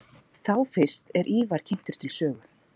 Þá fyrst er Ívar kynntur til sögu.